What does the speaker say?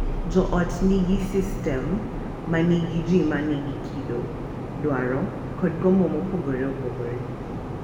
Jo ot gin sistem ma nigi ji ma nigi kido, dwaro, kod gombo mopogore opogore.